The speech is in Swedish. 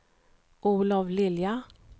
Olov Lilja